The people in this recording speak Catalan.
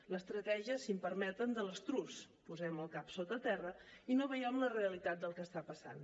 l’estratègia si em permeten de l’estruç posem el cap sota terra i no veiem la realitat del que està passant